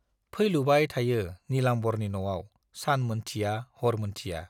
फैलुबाय थायो नीलाम्बरनि न'आव सान मोनथिया हर मोनथिया।